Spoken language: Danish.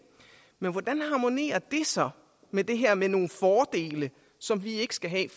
men hvordan harmonerer det så med det her med nogle fordele som vi ikke skal have